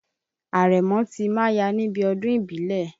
Àrẹ̀mọ ti máya níbi ọdún ìbílẹ̀.